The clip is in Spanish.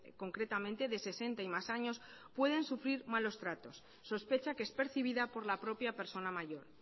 concretamente de sesenta y más años pueden sufrir malos tratos sospecha que es percibida por la propia persona mayor